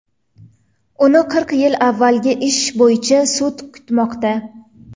Uni qirq yil avvalgi ish bo‘yicha sud kutmoqda.